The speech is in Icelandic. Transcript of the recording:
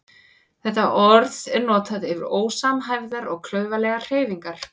Þetta orð er notað yfir ósamhæfðar og klaufalegar hreyfingar.